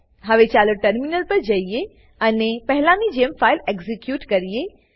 હવે ચાલો ટર્મિનલ પર જઈએ અને પહેલાની જેમ ફાઈલ એક્ઝીક્યુટ કરીએ